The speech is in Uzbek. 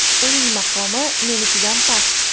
Uning maqomi menikidan past”.